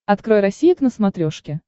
открой россия к на смотрешке